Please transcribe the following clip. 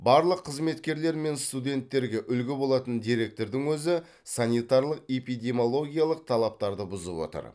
барлық қызметкерлер мен студенттерге үлгі болатын директордың өзі санитарлық эпидемиологиялық талаптарды бұзып отыр